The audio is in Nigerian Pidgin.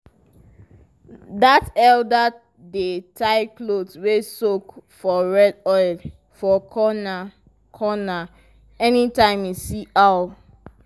that elder dey tie cloth wey soak for red oil for corner-corner anytime e see owl.